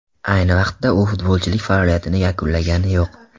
Ayni vaqtda, u futbolchilik faoliyatini yakunlagani yo‘q.